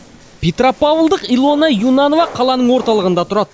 петропавлдық илона юнанова қаланың орталығында тұрады